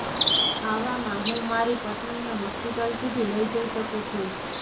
આવામાં હું મારી પત્નીને હોસ્પિટલ સુધી લઈ જઈ શકું છું